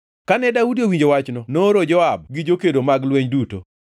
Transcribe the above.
Kane Daudi owinjo wachno nooro Joab gi jokedo mag lweny duto.